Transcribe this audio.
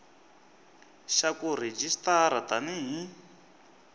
xa ku rejistara tani hi